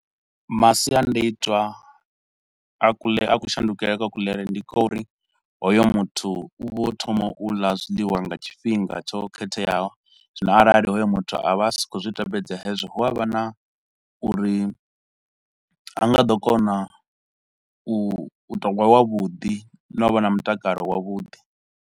Masiandoitwa a kule, a ku shandukele kwa kuḽele ndi kwa uri hoyo muthu u vho thoma u ḽa zwiḽiwa nga tshifhinga tsho khetheaho, zwino arali hoyo muthu a vha a si khou zwi tevhedza hezwo, hu avha na uri ha nga ḓo kona u, vhuthogwa vha vhuḓi na u vha na mutakalo wavhuḓi.